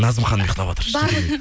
назым ханым ұйқтаватыр